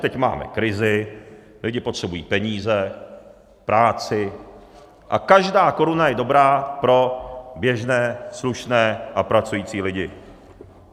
Teď máme krizi, lidi potřebují peníze, práci a každá koruna je dobrá pro běžné slušné a pracující lidi.